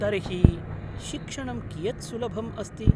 तर्हि, शिक्षणं कियत् सुलभम् अस्ति?